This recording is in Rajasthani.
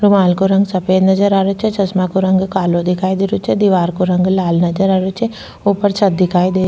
रूमाल को रंग सफ़ेद नजर आ रेहो छे चश्मा को रंग कालो दिखाई दे रेहो छे दिवार को रंग लाल नजर आ रेहो छे ऊपर छत दिखाई दे री।